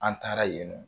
An taara yen nɔ